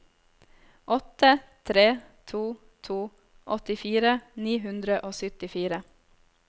åtte tre to to åttifire ni hundre og syttifire